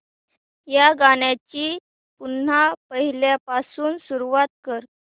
या गाण्या ची पुन्हा पहिल्यापासून सुरुवात कर